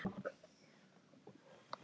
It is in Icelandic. Lét sem hann sæi mig ekki.